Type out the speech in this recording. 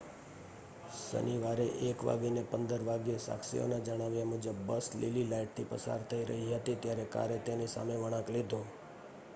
શનિવારે સવારે 1 15 વાગ્યે સાક્ષીઓના જણાવ્યા મુજબ બસ લીલી લાઇટથી પસાર થઈ રહી હતી ત્યારે કારે તેની સામે વળાંક લીધો